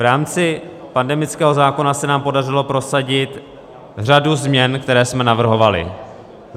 V rámci pandemického zákona se nám podařilo prosadit řadu změn, které jsme navrhovali.